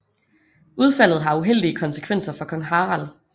Udfaldet har uheldige konsekvenser for kong Harald